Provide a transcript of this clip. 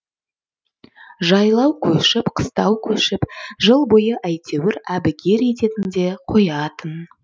жайлау көшіп қыстау көшіп жыл бойы әйтеуір әбігер ететін де қоятын